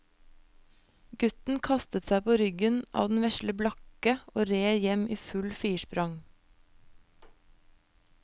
Gutten kastet seg på ryggen av den vesle blakke og red hjem i fullt firsprang.